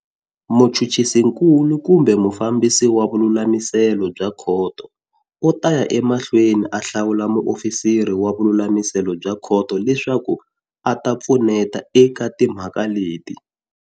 Muchuchisinkulu kumbe mufambisi wa vululamiselo bya khoto u ta ya emahlweni a hlawula muofisiri wa vululamiselo bya khoto leswaku a ta pfuneta eka timhaka leti.